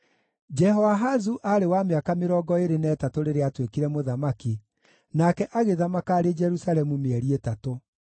Jehoahazu aarĩ wa mĩaka mĩrongo ĩĩrĩ na ĩtatũ rĩrĩa aatuĩkire mũthamaki, nake agĩthamaka arĩ Jerusalemu mĩeri ĩtatũ.